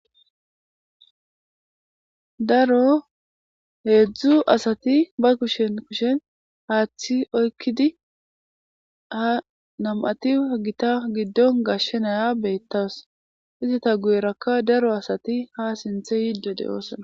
Daro heedzdzu asati ba kushen kushen haaththi oykkidi ha nam7ati gita giddon gashshenaya beettas izata guyerakka daro asati ha sinthe yiddo deyoosana.